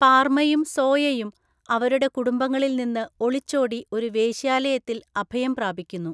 പാർമയും സോയയും അവരുടെ കുടുംബങ്ങളിൽ നിന്ന് ഒളിച്ചോടി ഒരു വേശ്യാലയത്തിൽ അഭയം പ്രാപിക്കുന്നു.